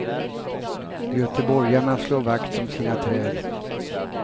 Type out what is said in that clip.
Göteborgarna slår vakt om sina träd.